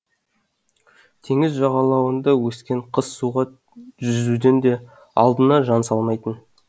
теңіз жағалауында өскен қыз суға жүзуден де алдына жан салмайтын